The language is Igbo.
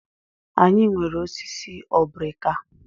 Anyị nwere osisi obrika.